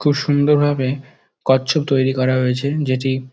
খুব সুন্দরভাবে কচ্ছপ তৈরী করা হয়েছে। যেটি--